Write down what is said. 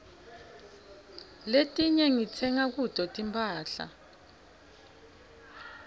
letinyg ditsenga kuto timphahla